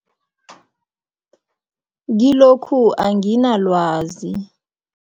Kilokhu anginalwazi.